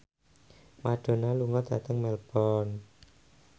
Madonna lunga dhateng Melbourne